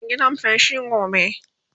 za'a wa gidan feshi gobe